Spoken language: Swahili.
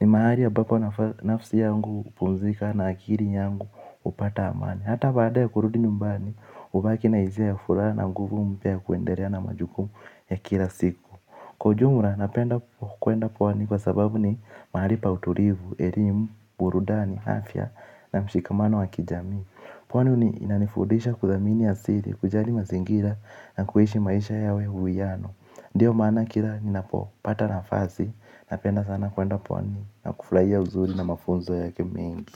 Ni mahali ambapo nafsi yangu hupumzika na akili yangu hupata amani. Hata baada ya kurudi nyumbani, hubaki na hisia ya furaha na nguvu mpya ya kuendelea na majukumu ya kila siku. Kwa ujumla napenda kuenda pwani kwa sababu ni mahali pa utulivu, elimu, burudani, afya na mshikamano wa kijamii. Pwani ni inanifundisha kuthamini asili, kujali mazingira na kuishi maisha yawe huwiyano. Ndiyo maana kila ninapo pata nafasi napenda sana kwenda pwani na kufurahia uzuri na mafunzo yake mengi.